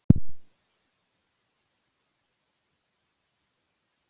Upprunalega eintakið af því eyðilagðist í seinni heimsstyrjöldinni.